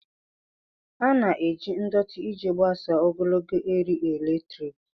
A na-eji ndọtị iji gbasaa ogologo eriri eletrik.